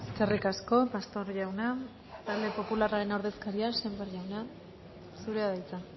eskerrik asko pastor jauna talde popularraren ordezkaria sémper jauna zurea da hitza